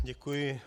Děkuji.